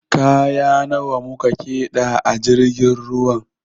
Kaya nawa mu keda a jirgin ruwan?